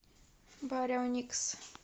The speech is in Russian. барионикс